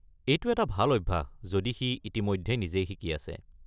এইটো এটা ভাল অভ্যাস যদি সি ইতিমধ্যে নিজেই শিকি আছে।